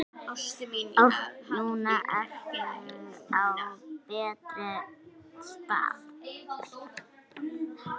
Núna ertu á betri stað.